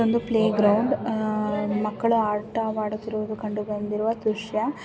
ಒಂದು playground ಹಾ ಮಕ್ಕಳು ಆಟವಾಡುತ್ತಿರುವುದು ಕಂಡು ಬಂದಿರುವ ದೃಶ್ಯ.